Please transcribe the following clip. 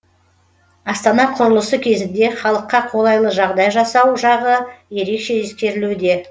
астана құрылысы кезінде халыққа қолайлы жағдай жасау жағы ерекше ескерілуде